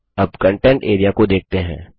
अब content area को देखते हैं